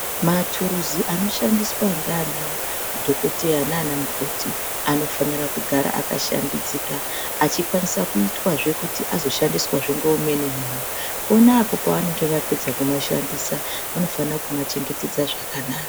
Maturuzi anoshandiswa nana dhokoteya nanamukoti anofanira kugara akashambidzika achikwanisa kuti azoshandiswa ngeumweni muntu pona apo pavanenge vapedza kumashandisa vanofanira kuma chengetedza zvakanaka.